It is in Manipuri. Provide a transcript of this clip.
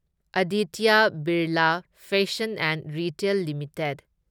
Aditya Birla fashion and retail limited